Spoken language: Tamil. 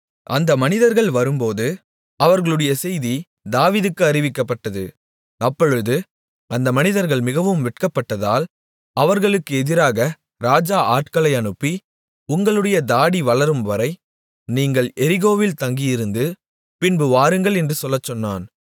அந்த மனிதர்கள் வரும்போது அவர்களுடைய செய்தி தாவீதுக்கு அறிவிக்கப்பட்டது அப்பொழுது அந்த மனிதர்கள் மிகவும் வெட்கப்பட்டதால் அவர்களுக்கு எதிராக ராஜா ஆட்களை அனுப்பி உங்களுடைய தாடி வளரும்வரை நீங்கள் எரிகோவில் தங்கியிருந்து பின்பு வாருங்கள் என்று சொல்லச்சொன்னான்